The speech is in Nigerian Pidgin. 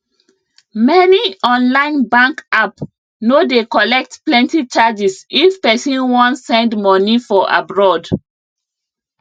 many online bank app no dey collect plenti charges if pesin wan send money for abroad